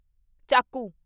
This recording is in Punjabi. ਚਾਕੂ